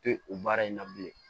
Te o baara in na bilen